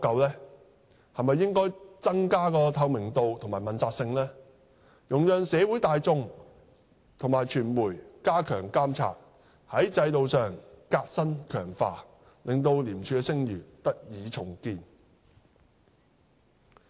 是否應增加透明度及問責性，容讓社會大眾及傳媒加強監察，從制度上革新強化，令廉署的聲譽得以重建？